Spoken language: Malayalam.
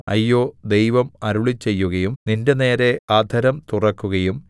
അയ്യോ ദൈവം അരുളിച്ചെയ്യുകയും നിന്റെനേരെ അധരം തുറക്കുകയും